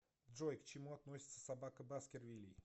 джой к чему относится собака баскервилей